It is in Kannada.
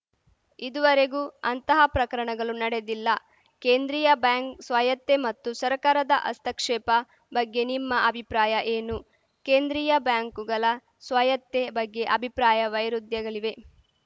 ಇದುವರೆಗೂ ಅಂತಹ ಪ್ರಕರಣಗಳು ನಡೆದಿಲ್ಲ ಕೇಂದ್ರೀಯ ಬ್ಯಾಂಕ್‌ ಸ್ವಾಯತ್ತೆ ಮತ್ತು ಸರ್ಕಾರದ ಹಸ್ತಕ್ಷೇಪ ಬಗ್ಗೆ ನಿಮ್ಮ ಅಭಿಪ್ರಾಯ ಏನು ಕೇಂದ್ರೀಯ ಬ್ಯಾಂಕುಗಳ ಸ್ವಾಯತ್ತೆ ಬಗ್ಗೆ ಅಭಿಪ್ರಾಯ ವೈರುಧ್ಯಗಳಿವೆ